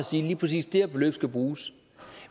sige at lige præcis det beløb skal bruges